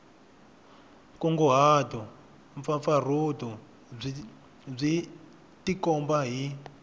nkunguhato mpfapfarhuto byi tikomba hi